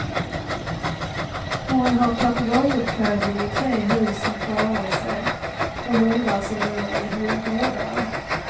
Hon har papegojuppfödning i tre hus som klarade sig, och hundar som bor i hundgårdar.